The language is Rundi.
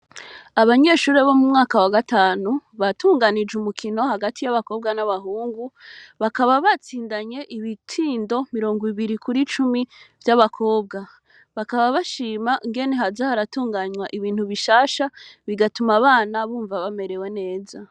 Abanyeshure bo mu mwaka wa gatanu batunganije umukino hagati y'abakobwa n'abahungu bakaba batsindanye ibitindo mirongo ibiri kuri cumi vy'abakobwa bakaba bashima ngene hazaharatunganywa ibintu bishasha bigatuma abana bumva bamerewe neza.